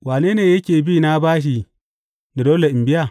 Wane ne yake bi na bashi da dole in biya?